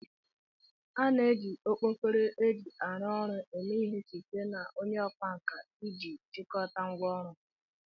A na-eji okpkoro eji aru ọrụ eme ihe site na onye okwa nka iji chịkọta ngwá ọrụ ha